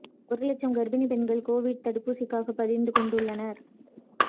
ஒரு லட்சம் கர்ப்பிணி பெண்கள் கோவிட் தடுப்பூசிக்காக பதிந்து கொண்டுள்ளனர்